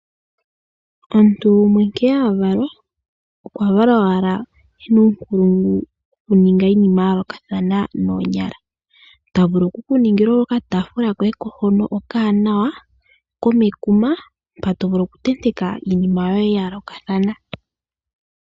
Omuntu gumwe nkene avalwa okwa valwa owala ena uunkulungu wo kuninga iinima ya yoolokathana. Ta vulu oku ku ningila okataafula koye hono to vulu okutenteka iinima yoye ya yoolokathana.